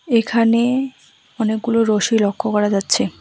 এখানে অনেকগুলো রশি লক্ষ্য করা যাচ্ছে।